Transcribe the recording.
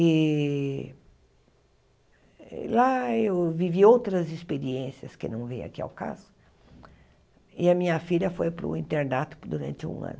E lá eu vivi outras experiências, que não vem aqui ao caso, e a minha filha foi para o internato durante um ano.